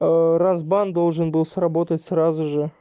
а разбан должен был сработать сразу же